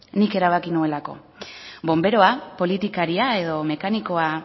nik erabaki nuelako bonberoa politikaria edo mekanikoa